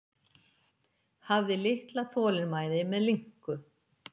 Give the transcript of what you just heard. Hafði litla þolinmæði með linku.